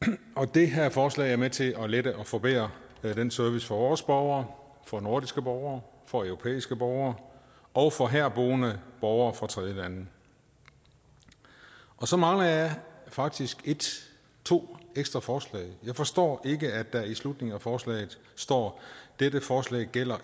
det her forslag er med til at lette og forbedre den service for vores borgere for nordiske borgere for europæiske borgere og for herboende borgere fra tredjelande så mangler jeg faktisk to ekstra forslag jeg forstår ikke at der i slutningen af forslaget står at dette forslag ikke gælder